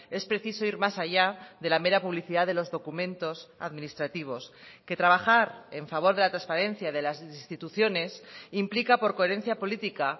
es preciso ir más allá de la mera publicidad de los documentos administrativos que trabajar en favor de la transparencia de las instituciones implica por coherencia política